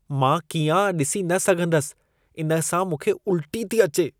मां कीआं ॾिसी न सघंदसि; इन सां मूंखे उल्टी थी अचे।